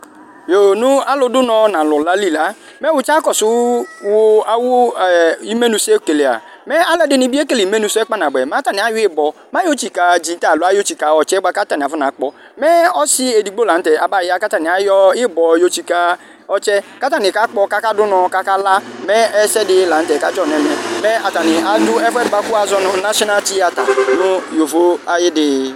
Yo nu alu du unɔ nu alu la li la mɛ usia kɔsu awu imenu sɛ okele mɛ aluɛdini bi afɔna kele imenu sɛ kpa nabuɛ ibɔ yɔ tsika ɔtsɛ katani kakpɔ mɛ ɔsi edigbo la nu tɛ abaya ku atani ayɔ ibɔ yɔtsika ɔtsɛ katani kakpɔ kakadu unɔ kakala mɛ ɛsɛdi la nu tɛ kadzɔnu ɛmɛ atani adu ɛfuɛdi buaku azɔ nu national theatre nu yovo ayi dii